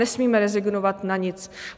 Nesmíme rezignovat na nic.